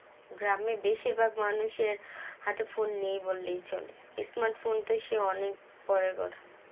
গ্রামের বেশিরভাগ মানুষের হাতে phone নেই বললেই চলে smart phone তো সেই অনেক পরের কথা